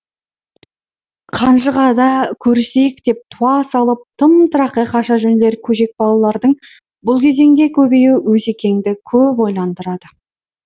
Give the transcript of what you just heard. қанжығада көрісейік деп туа салып тым тырақай қаша жөнелер көжек балалардың бұл кезеңде көбеюі осекеңді көп ойландырады